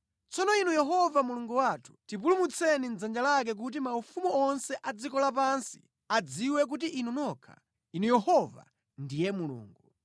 Tsono Inu Yehova Mulungu wathu, tipulumutseni mʼdzanja lake kuti maufumu onse a dziko lapansi adziwe kuti Inu nokha, Inu Yehova, ndiye Mulungu.”